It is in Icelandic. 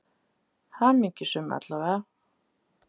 Hamingjusöm, alla vega.